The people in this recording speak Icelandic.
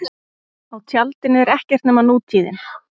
Á tjaldinu er ekkert nema nútíðin.